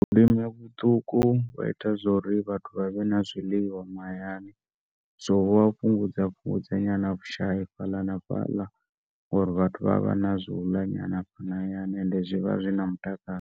Vhulimi vhuṱuku vha ita zwa uri vhathu vha vhe na zwiḽiwa mahayani zwo fhungudza fhungudza vhushai fhaḽa na fhaḽa uri vhathu vha ya vha na zwa uḽa fhano hayani and zwi vha zwina mutakalo.